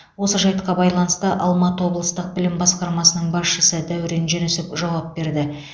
осы жайтқа байланысты алматы облыстық білім басқармасының басшысы дәурен жүнісов жауап берді